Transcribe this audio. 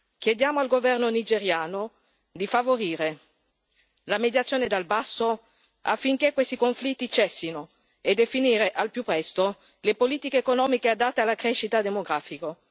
Chiediamo al governo nigeriano di favorire la mediazione dal basso, affinché questi conflitti cessino, e di definire al più presto le politiche economiche adatte alla crescita demografica.